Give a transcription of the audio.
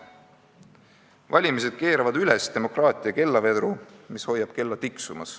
Valimised keeravad üles demokraatia kellavedru, mis hoiab kella tiksumas.